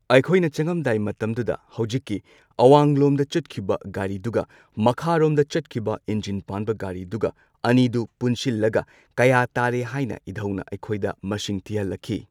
ꯑꯩꯈꯣꯏꯅ ꯆꯪꯉꯝꯗꯥꯏ ꯃꯇꯝꯗꯨꯗ ꯍꯧꯖꯤꯛꯀꯤ ꯑꯋꯥꯡꯂꯣꯝꯗ ꯆꯠꯈꯤꯕ ꯒꯥꯔꯤꯗꯨꯒ ꯃꯈꯥꯔꯣꯝꯗ ꯆꯠꯈꯤꯕ ꯏꯟꯖꯤꯟ ꯄꯥꯟꯕ ꯒꯥꯔꯤꯗꯨꯒ ꯑꯅꯤꯗꯨ ꯄꯨꯟꯁꯤꯜꯂꯒ ꯀꯌꯥ ꯇꯥꯔꯦ ꯍꯥꯏꯅ ꯏꯙꯧꯅ ꯑꯩꯈꯣꯏꯗ ꯃꯁꯤꯡ ꯊꯤꯍꯜꯂꯛꯈꯤ꯫